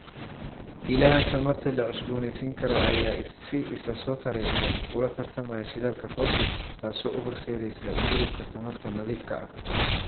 Ilaha tamarta la cusboonaysiin karo ayaa si isa soo taraysa ula tartamaya shidaalka fosil, taasoo u horseedaysa u gudubka tamarta nadiifka ah.